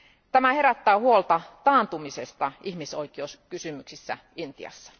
Tämä herättää huolta taantumisesta ihmisoikeuskysymyksissä Intiassa.